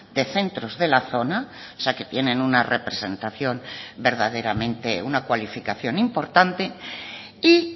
de centros de la zona o sea que tienen una cualificación importante y